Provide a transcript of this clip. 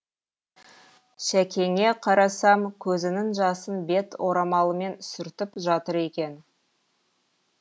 шәкеңе қарасам көзінің жасын бет орамалымен сүртіп жатыр екен